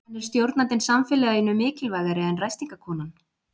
En er stjórnandinn samfélaginu mikilvægari en ræstingakonan?